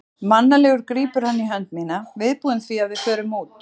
Mannalegur grípur hann í hönd mína, viðbúinn því að við förum út.